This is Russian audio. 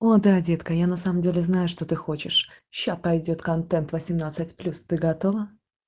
о да детка на самом деле я знаю что ты хочешь сейчас пойдёт контент восемнадцать плюс ты готова